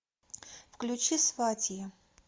включи сватья